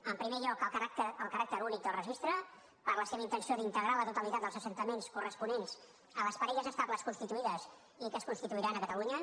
en primer lloc el caràcter únic del registre per la seva intenció d’integrar la totalitat dels assentaments corresponents a les parelles estables constituïdes i que es constituiran a catalunya